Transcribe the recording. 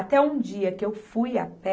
Até um dia que eu fui a pé,